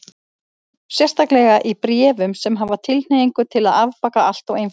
Sérstaklega í bréfum sem hafa tilhneigingu til að afbaka allt og einfalda.